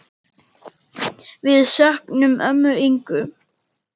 Við söknum ömmu Ingu.